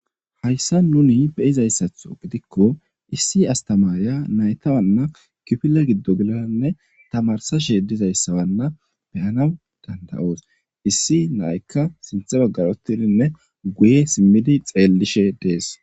Haysan nuni beyizaysatho gidikon issi astamariya nayta kifile gido geladanne tamarisashe dizaysanna beyanawu danda'osi , issi nayaka sinthe bagara utidinne guye simi xeelishe deesi.